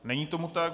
Není tomu tak.